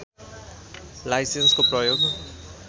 लाइसेन्सको प्रयोग